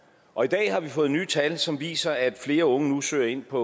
og i dag har vi fået nye tal som viser at flere unge nu søger ind på